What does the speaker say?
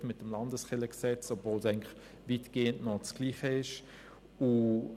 Man hat es zwar mit dem LKG etwas aufgeweicht, doch es ist eigentlich weitgehend noch dasselbe.